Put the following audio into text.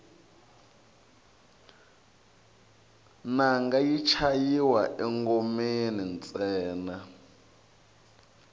nanga yi chayiwa engomeni ntsena